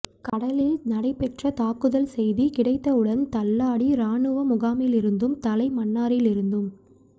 கடலில் நடைபெற்ற தாக்குதல் செய்தி கிடைத்தவுடன் தள்ளாடி இராணுவ முகாமிலிருந்தும் தலைமன்னாரிலிருந்தும்